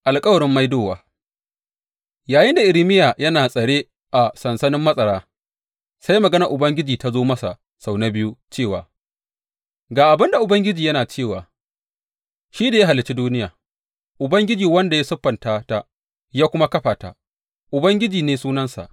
Alkawarin Maidowa Yayinda Irmiya yana a tsare a sansanin matsara, sai maganar Ubangiji ta zo masa sau na biyu cewa, Ga abin da Ubangiji yana cewa, shi da ya halicci duniya, Ubangiji wanda ya siffanta ta ya kuma kafa ta, Ubangiji ne sunansa.